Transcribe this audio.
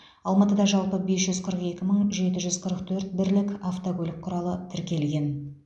алматыда жалпы бес жүз қырық екі мың жеті жүз қырық төрт бірлік автокөлік құралы тіркелген